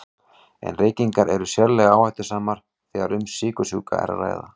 En reykingar eru sérlega áhættusamar þegar um sykursjúka er að ræða.